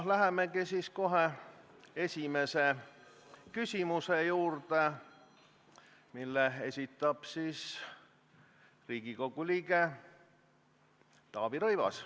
Lähemegi esimese küsimuse juurde, mille esitab Riigikogu liige Taavi Rõivas.